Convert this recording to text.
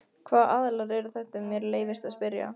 Hvaða aðilar eru þetta ef mér leyfist að spyrja?